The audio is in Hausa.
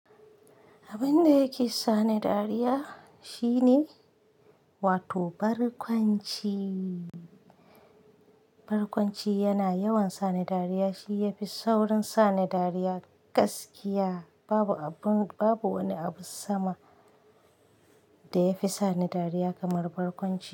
Abin da yake sa ni dariya shine wato barkwanci. Barkwanci yana yawan sani dariya, shi yafi sauran sani dariya gaskiya. Babu abun, babu wani abu sama da ya fi sa ni dariya kamar barkwanci.